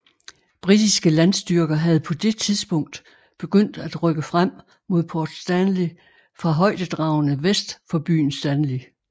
Britiske landstyrker havde på det tidspunkt begyndt at rykke frem mod Port Stanley fra højdedragene vest for byen Stanley